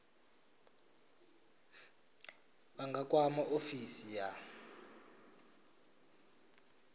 vha nga kwama ofisi ya